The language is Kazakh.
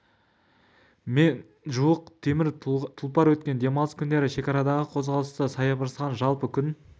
астам адам мен мыңға жуық темір тұлпар өткен демалыс күндері шекарадағы қозғалыста саябырсыған жалпы күн